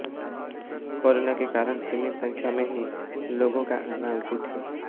corona के कारण सीमित संख्या में ही लोगों का आना उचित है